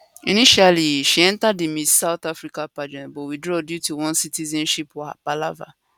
initially she enter di miss south africa pageant but withdraw due to one citizenship palava